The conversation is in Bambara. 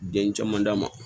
Den caman d'a ma